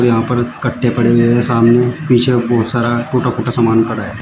यहां पर कट्टे पड़ा हुए हैं सामने पीछे बहुत सारा टूटा फूटा सामान पड़ा है।